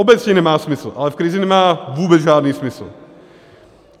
Obecně nemá smysl, ale v krizi nemá vůbec žádný smysl.